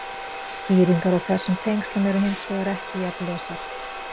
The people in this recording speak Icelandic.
Skýringar á þessum tengslum eru hins vegar ekki jafn ljósar.